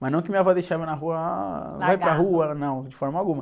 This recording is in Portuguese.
Mas não que minha avó deixava na rua, ah...argado.ai para rua, não, de forma alguma.